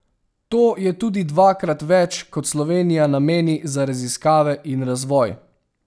To je tudi dvakrat več, kot Slovenija nameni za raziskave in razvoj.